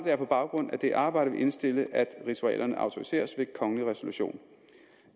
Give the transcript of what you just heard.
jeg på baggrund af det arbejde vil indstille at ritualerne autoriseres ved kongelig resolution